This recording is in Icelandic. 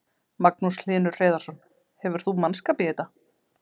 Magnús Hlynur Hreiðarsson: Hefur þú mannskap í þetta?